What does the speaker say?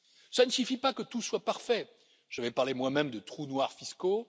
Cela ne suffit pas pour que tout soit parfait, je vais parler moi même de trous noirs fiscaux.